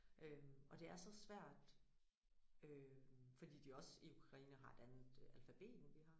Øh og det er så svært øh fordi de også i Ukraine har et andet alfabet end hvad vi har